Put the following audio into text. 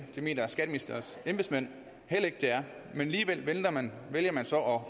det mener skatteministerens embedsmænd heller ikke det er men alligevel vælger man vælger man så